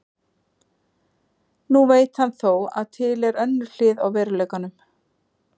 Nú veit hann þó að til er önnur hlið á veruleikanum.